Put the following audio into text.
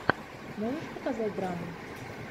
можешь показать драму